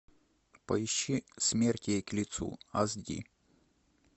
поищи смерть ей к лицу аш ди